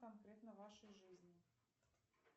конкретно вашей жизни